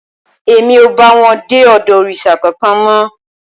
Èmi ò bá wọn dé ọ̀dọ̀ òrìṣà kankan mọ́